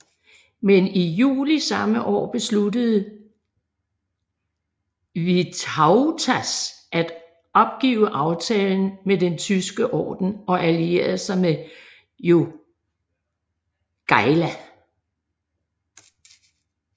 Men i juli samme år besluttede Vytautas at opgive aftalen med Den Tyske Orden og alliere sig med Jogaila